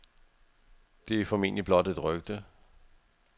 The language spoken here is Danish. Det er formentlig blot et rygte.